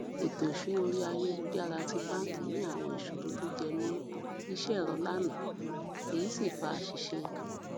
ètò ìsúná orí ayélujára ti báńkì ní àwọn ìṣòro tó jẹ mọ iṣẹ ẹrọ lánàá èyí sì fa àṣìṣe